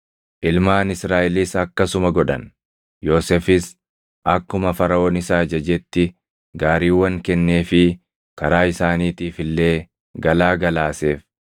Ilmaan Israaʼelis akkasuma godhan. Yoosefis akkuma Faraʼoon isa ajajetti gaariiwwan kenneefii karaa isaaniitiif illee galaa galaaseef.